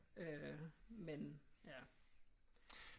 Øh men ja